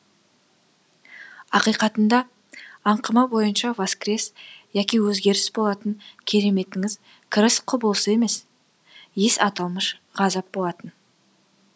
ақиқатында аңқыма бойынша воскрес яки өзгеріс болатын кереметіңіз кіріс құбылысы емес ес аталмыш ғажап болатын